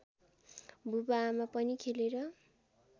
बुबाआमा पनि खेलेर